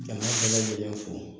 Jama bɛɛ lajɛlen fo